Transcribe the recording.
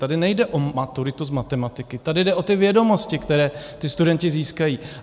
Tady nejde o maturitu z matematiky, tady jde o ty vědomosti, které ti studenti získají.